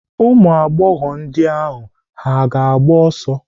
Ụmụagbọghọ ndị ahụ agba ọsọ?